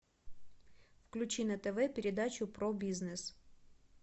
включи на тв передачу про бизнес